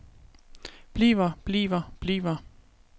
bliver bliver bliver